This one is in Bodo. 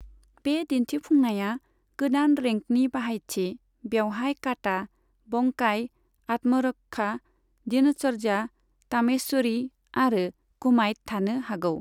बे दिन्थिफुंनाया गोदान रेंकनि बाहायथि, बेवहाय काटा, बंकाई, आत्मरक्षा, दिनचर्या, तामेश्वरी आरो कुमाइट थानो हागौ।